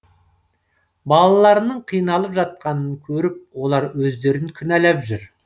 балаларының қиналып жатқанын көріп олар өздерін кінәлап жүр